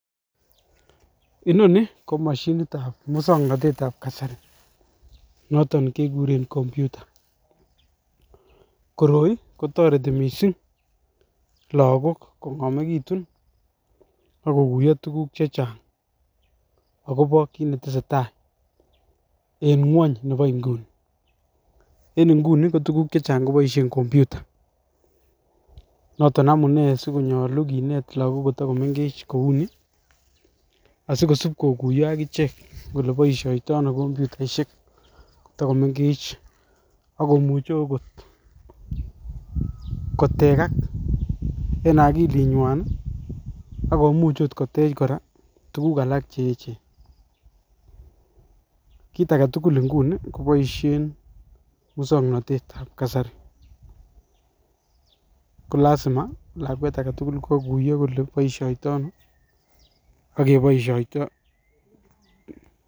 Inoni ko moshinit ab muswoknotetab kasari noton kekuren computer koroi kotoretin missing lokok kongomekitun ak kokuyo tukuk che Chang akobo kit netesetai en ngwony nebo inguni. En inguni ko tukuk chechang koboishen computer noton amunee sikonyolu kineet lokok kotokomengech kouni asikosip kokuyo akichek kole boishoniton ono komputaishek kotokomengech akomuche okot kotekak en okili nywan nii akomuchi okot koteche Koraa tukuk alak cheyechen. Kit agetukul inguni koboishen muswoknotet ab kasari kolasima lakwet agetukul kokoyo kole boishoniton ak keboishoito.